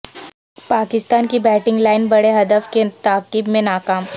پاکستان کی batting line بڑے ہدف کے تعاقب میں ناکام